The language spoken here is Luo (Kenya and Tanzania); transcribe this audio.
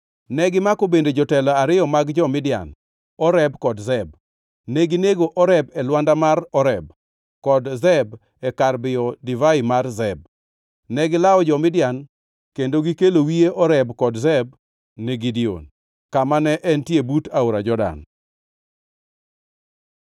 Negimako bende jotelo ariyo mag jo-Midian, Oreb kod Zeb. Neginego Oreb e lwanda mar Oreb, kod Zeb e kar biyo divai mar Zeb. Negilawo jo-Midian kendo gikelo wiye Oreb kod Zeb ni Gideon, kama ne entie but aora Jordan.